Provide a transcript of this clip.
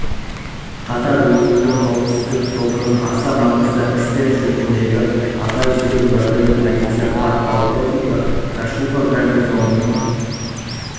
қатар өзіндік қауіпсіздік тобының аса маңызды істер жөніндегі аға жедел уәкілі полиция подполковнигі кашуба гарнизонның